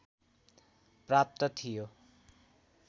प्राप्त थियो